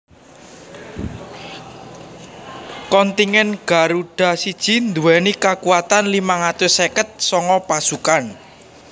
Kontingen Garuda I nduwèni kakuatan limang atus seket sanga pasukan